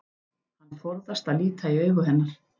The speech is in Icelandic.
Hann forðast að líta í augu hennar.